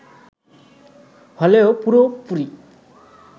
হলেও পুরোপুরি